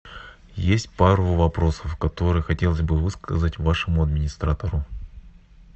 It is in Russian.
есть пару вопросов которые хотелось бы высказать вашему администратору